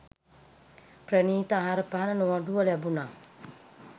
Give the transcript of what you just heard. ප්‍රණීත ආහාරපාන නොඅඩුව ලැබුණා.